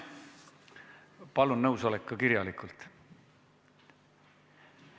Palun nõusolek esitada ka kirjalikult.